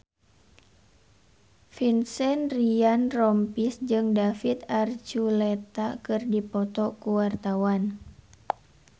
Vincent Ryan Rompies jeung David Archuletta keur dipoto ku wartawan